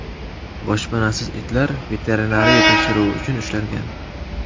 Boshpanasiz itlar veterinariya tekshiruvi uchun ushlangan.